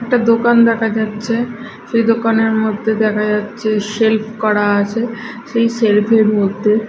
একটা দোকান দেখা যাচ্ছে সেই দোকানের মধ্যে দেখা যাচ্ছে সেলফ করা আছে সেই সেলফ -এর মধ্যে--